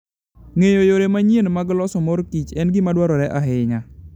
Ng'eyo yore manyien mag loso mor kich en gima dwarore ahinya.